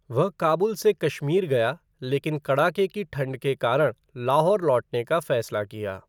वह काबुल से कश्मीर गया लेकिन कड़ाके की ठंड के कारण लाहौर लौटने का फैसला किया।